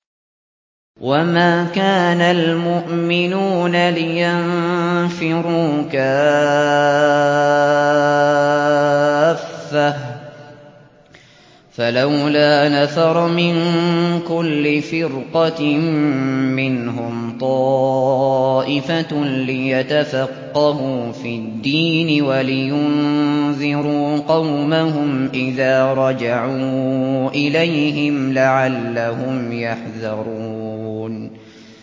۞ وَمَا كَانَ الْمُؤْمِنُونَ لِيَنفِرُوا كَافَّةً ۚ فَلَوْلَا نَفَرَ مِن كُلِّ فِرْقَةٍ مِّنْهُمْ طَائِفَةٌ لِّيَتَفَقَّهُوا فِي الدِّينِ وَلِيُنذِرُوا قَوْمَهُمْ إِذَا رَجَعُوا إِلَيْهِمْ لَعَلَّهُمْ يَحْذَرُونَ